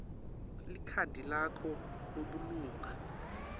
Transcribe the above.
likhadi lakho lebulunga